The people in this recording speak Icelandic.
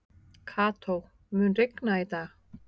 Kató, mun rigna í dag?